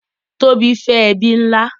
Tobi fẹ ẹbi nlá.